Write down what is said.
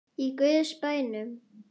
Í guðs bænum.